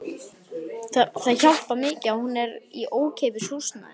Það hjálpar mikið að hún er í ókeypis húsnæði.